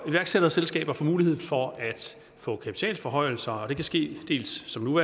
iværksætterselskaber får mulighed for at få kapitalforhøjelser og det kan ske dels som nu